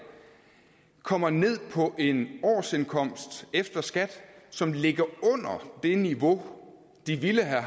kommer ned på en årsindkomst efter skat som ligger under det niveau de ville have